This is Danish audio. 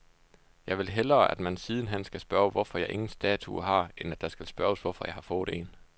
Jeg vil hellere, at man siden hen skal spørge, hvorfor jeg ingen statue har, end at det skal spørges, hvorfor jeg har fået en.